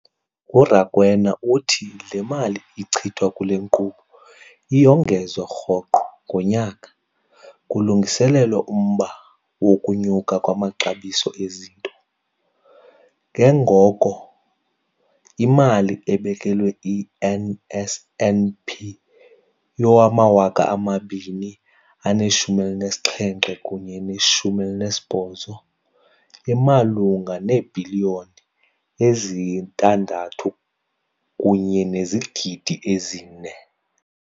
URakwena uthi le mali ichithwa kule nkqubo iyongezwa rhoqo ngonyaka kulungiselelwa umba wokunyuka kwamaxabiso ezinto, ke ngoko imali ebekelwe i-NSNP yowama-2017 kunye ne-18 imalunga neebhiliyoni eziyi-6.4 zeerandi.